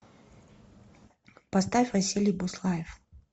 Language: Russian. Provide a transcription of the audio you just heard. поставь василий буслаев